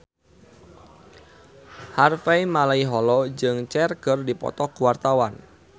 Harvey Malaiholo jeung Cher keur dipoto ku wartawan